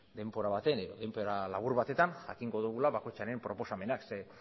denbora baten denbora labur batetan jakingo dugula bakoitzaren proposamenak ze